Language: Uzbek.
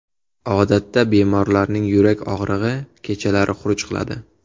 Odatda bemorlarning yurak og‘rig‘i kechalari xuruj qiladi.